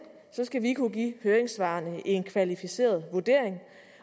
skal vi kunne give høringssvarene en kvalificeret vurdering